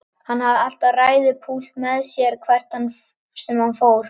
Hann hafði alltaf ræðupúlt með sér hvert sem hann fór.